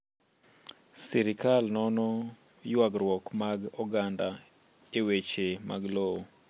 Sirkal nono ywagruok mag oganda e weche mag lowo.